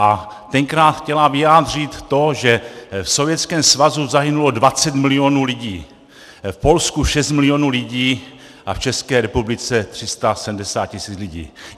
A tenkrát chtěla vyjádřit to, že v Sovětském svazu zahynulo 20 milionů lidí, v Polsku 6 milionů lidí a v České republice 370 tisíc lidí.